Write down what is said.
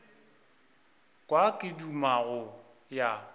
kwa ke duma go ya